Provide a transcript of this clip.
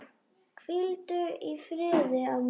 Hvíldu í friði, amma.